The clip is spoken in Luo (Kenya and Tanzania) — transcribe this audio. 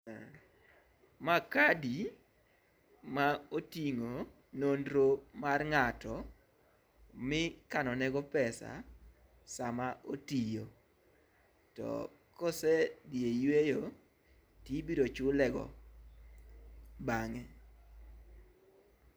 Ma kadi ma oting'o nonro mar ng'ato mi ikano ne go pesa sama otiyo to kosedhi e yueyo tibiro chulego bang'e